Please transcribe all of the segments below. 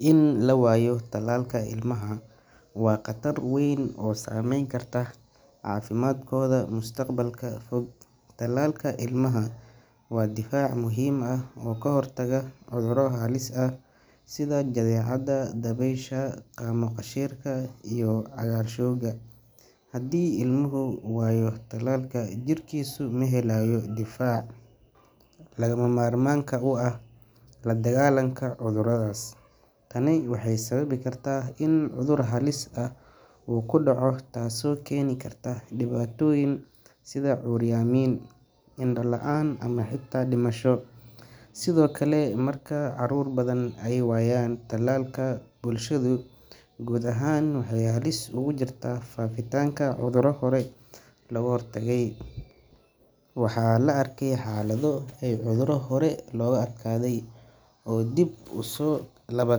In la waayo talalka ilmaha waa qatar weyn oo saameyn karta caafimaadkooda mustaqbalka fog. Talalka ilmaha waa difaac muhiim ah oo ka hortaga cudurro halis ah sida jadeecada, dabaysha, qaamo-qashiirka iyo cagaarshowga. Haddii ilmuhu waayo talalka, jirkiisu ma helayo difaaca lagama maarmaanka u ah la dagaallanka cudurradaas. Tani waxay sababi kartaa in cudur halis ah uu ku dhaco taasoo keeni karta dhibaatooyin sida curyaamin, indho la’aan ama xitaa dhimasho. Sidoo kale, marka caruur badan ay waayaan talaalka, bulshadu guud ahaan waxay halis ugu jirtaa faafitaanka cudurro hore looga hortagay. Waxaa la arkay xaalado ay cudurro hore looga adkaaday ay dib u soo laba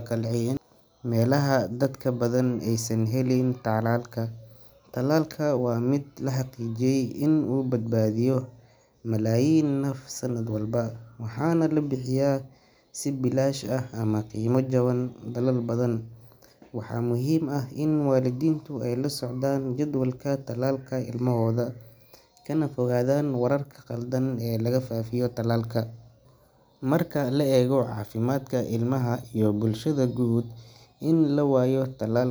kacleeyaan meelaha dadka u badan aysan helin talaalka. Talalka waa mid la xaqiijiyay in uu badbaadiyo malaayiin naf sanad walba, waxaana la bixiyaa si bilaash ah ama qiimo jaban dalal badan. Waxaa muhiim ah in waalidiintu ay la socdaan jadwalka talaalka ilmahooda, kana fogaadaan wararka khaldan ee laga faafiyo talaalka. Marka la eego caafimaadka ilmaha iyo bulshada guud, in la waayo talal.